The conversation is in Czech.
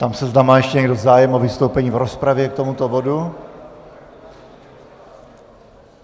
Ptám se, zda má ještě někdo zájem o vystoupení v rozpravě k tomuto bodu.